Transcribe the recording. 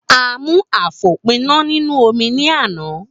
A mú àfòpíná nínú omi ní àná.